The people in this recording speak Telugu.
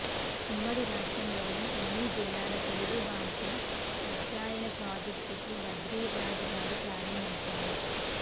ఉమ్మడి రాష్ట్రంలోని అన్ని జిల్లాల తెలుగు భాష అధ్యయన ప్రాజెక్టును భద్రిరాజు గారు ప్రారంభించారు